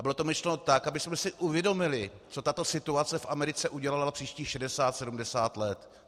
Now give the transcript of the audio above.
A bylo to myšleno tak, abychom si uvědomili, co tato situace v Americe udělala příštích 60-70 let.